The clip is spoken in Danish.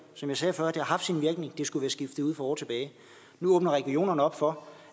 som jeg sagde før det har haft sin virkning det skulle skiftet ud for år tilbage nu åbner regionerne op for